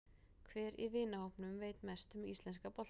Hver í vinahópnum veit mest um íslenska boltann?